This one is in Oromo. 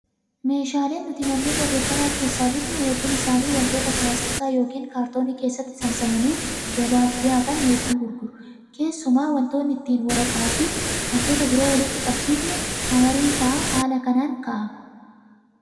Meeshaaleen nuti manneen barreeffamaa keessaa bitnu hedduun isaanii wantoota pilaastika yookiin kaartoonii keessatti saamsamanii gabaaf dhiyaatan hedduu gurguru. Keessumaa wantoonni ittiin waraqaa fi wantoota biroo walitti qabsiifnu hamariin fa'aa haala kanaan kaa'ama.